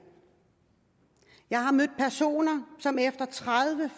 jeg har mødt personer som tredive